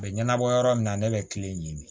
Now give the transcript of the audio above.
A bɛ ɲɛnabɔ yɔrɔ min na ne bɛ kile ɲini